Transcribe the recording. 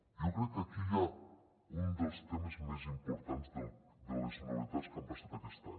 jo crec que aquí hi ha un dels temes més importants de les novetats que han passat aquest any